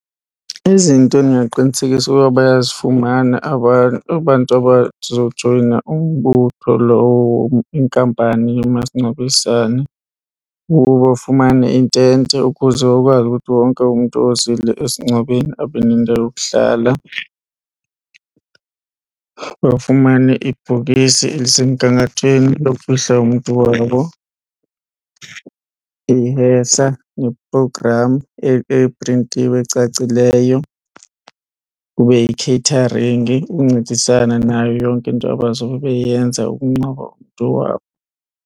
Izinto endingaqinisekisa uba bayazifumana abantu abazojoyina umbutho lowo inkampani yomasingcwabisane kukuba bafumane intente ukuze bakwazi ukuthi wonke umntu ozile esingcwabeni abe nendawo yokuhlala, bafumane ibhokisi elisemgangathweni lokufihla umntu wabo. Ihesa neprogramu eprintiwe ecacileyo, kube yikheyitharingi ukuncedisana nayo yonke into abazobe beyenza ukungcwaba umntu wabo.